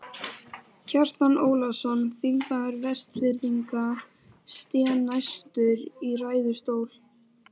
Kjartan Ólafsson, þingmaður Vestfirðinga, sté næstur í ræðustól.